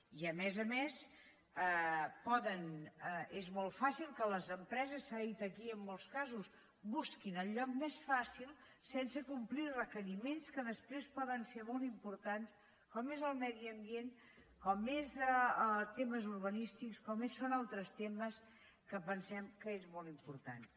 i a més a més és molt fàcil que les empreses s’ha dit aquí en molts casos busquin el lloc més fàcil sense complir requeriments que després poden ser molt importants com és el medi ambient com són temes urbanístics com són altres temes que pensem que són molt importants